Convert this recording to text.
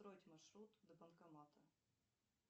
построить маршрут до банкомата